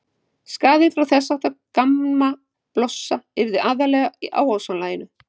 Skaðinn frá þess háttar gammablossa yrði aðallega á ósonlaginu.